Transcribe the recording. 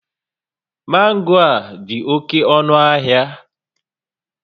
Mango a dị oke ọnụ ahịa